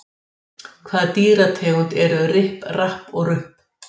Hvaða dýrategund eru Ripp, Rapp og Rupp?